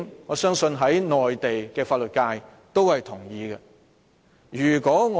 我相信內地的法律界也會認同這一點。